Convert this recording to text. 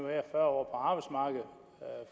være fyrre